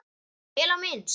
Vel á minnst.